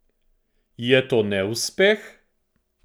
Je to neuspeh?